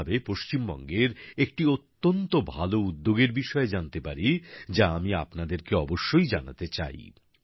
এই ভাবে পশ্চিমবঙ্গের একটি অত্যন্ত ভালো উদ্যোগের বিষয়ে জানতে পারি যা আমি আপনাদেরকে অবশ্যই জানাতে চাই